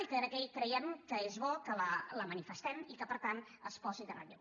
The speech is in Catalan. i creiem que és bo que la manifestem i que per tant es posi en relleu